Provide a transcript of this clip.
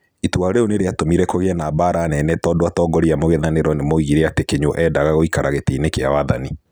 Itua rĩu nĩ rĩatũmire kũgĩe na mbaara nene tondũ atongoria a mung'ethanĩro nimoigire ati atĩ Kinyua eendaga gũĩkara gitĩini kĩa wathani.